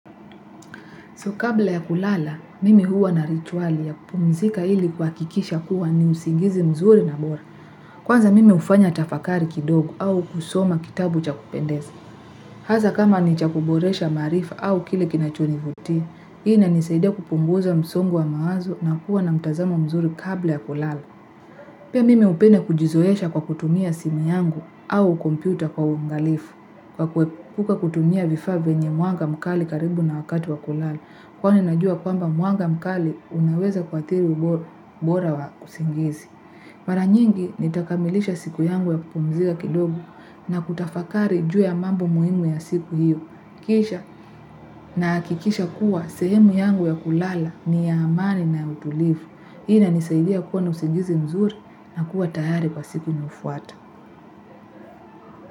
Kabla ya kulala mimi huwa na rituali ya kupumzika ili kuhakikisha kuwa ni usingizi mzuri na bora kwanza mimi hufanya tafakari kidogo au kusoma kitabu cha kupendeza. Hasa kama ni cha kuboresha maarifa au kile kinachonivutia, hii inanisaidia kupunguza msongo wa mawazo na kuwa na mtazamo mzuri kabla ya kulala. Pia mimi hupenda kujizoesha kwa kutumia simu yangu au kompyuta kwa uangalifu. Kwa kuepuka kutumia vifaa vyenye mwanga mkali karibu na wakati wa kulala. Kwani najua kwamba mwanga mkali unaweza kuathiri ubora wa usingizi. Mara nyingi nitakamilisha siku yangu ya kupumzika kidogo na kutafakari juu ya mambo muhimu ya siku hiyo. Kisha na hakikisha kuwa sehemu yangu ya kulala ni ya amani na utulivu. Hii inanisaidia kuwa na usingizi mzuri na kuwa tayari kwa siku inayofuata.